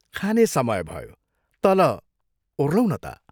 " खाने समय भयो, तल ओह्रौं न ता।